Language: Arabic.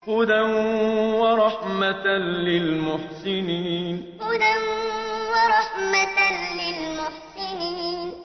هُدًى وَرَحْمَةً لِّلْمُحْسِنِينَ هُدًى وَرَحْمَةً لِّلْمُحْسِنِينَ